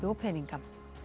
peninga